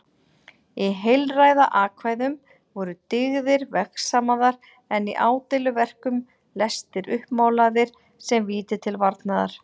Í heilræðakvæðum voru dyggðir vegsamaðar en í ádeiluverkum lestir uppmálaðir sem víti til varnaðar.